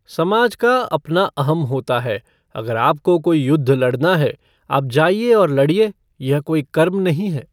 समाज का अपना अहम् होता है अगर आपको कोई युद्ध लडना है, आप जाइये और लड़िए, यह कोई कर्म नहीं है।